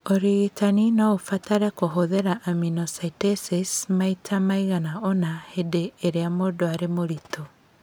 Ũrigitani no ũbatare kũhũthĩra amniocentesis maita maigana ũna hĩndĩ ĩrĩa mũndũ arĩ mũritũ.